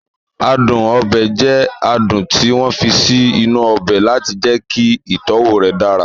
Adùn ọbẹ̀ jẹ adùn tí wọ́n fi sínú ọbẹ̀ láti jẹ́kí ìtọ́wọ̀ rẹ̀ dára